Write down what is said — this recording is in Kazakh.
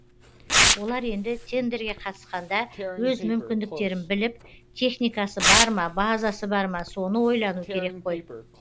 олар енді тендерге қатысқанда өз мүмкіндіктерін біліп техникасы бар ма базасы бар ма соны ойлану керек қой